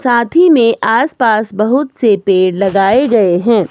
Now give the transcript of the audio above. साथ ही में आसपास बहुत से पेड़ लगाए गए हैं।